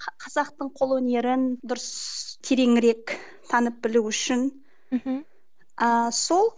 қазақтың қол өнерін дұрыс тереңірек танып білу үшін мхм ыыы сол